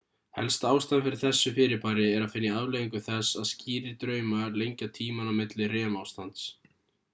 helsta ástæðan fyrir þessu fyrirbæri er að finna í afleiðingu þess að skýrir draumar lengja tímann á milli rem ástands